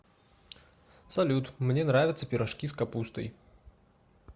салют мне нравятся пирожки с капустой